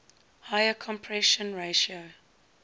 higher compression ratio